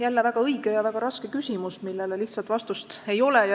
Jälle väga õige ja väga raske küsimus, millele lihtsat vastust ei ole.